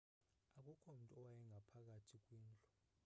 akukho mntu owayengaphakathi kwindlu